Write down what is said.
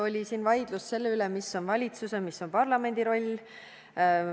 Oli vaidlus selle üle, mis on valitsuse ja mis on parlamendi roll.